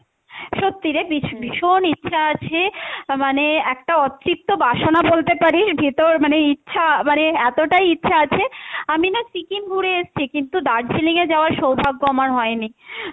সত্যি রে ভীষ~ ভীষণ ইচ্ছা আছে মানে একটা অতৃপ্ত বাসনা বলতে পারিস ভিতর মানে ইচ্ছা মানে এতটাই ইচ্ছা আছে, আমি না সিকিম ঘুরে এসছি কিন্তু দার্জিলিং এ যাওয়ার সৌভাগ্য আমার হয়নি